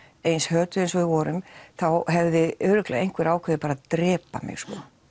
eins hötuð eins og við vorum þá hefði örugglega einhver ákveðið bara að drepa mig